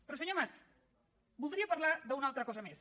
però senyor mas voldria parlar d’una altra cosa més